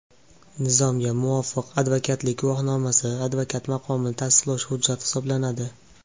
Nizomga muvofiq, advokatlik guvohnomasi advokat maqomini tasdiqlovchi hujjat hisoblanadi.